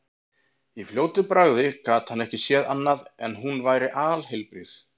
Í fljótu bragði gat hann ekki séð annað en hún væri alheilbrigð.